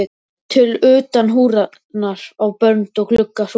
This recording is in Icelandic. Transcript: til utan húðunar á bönd og glugga súlur.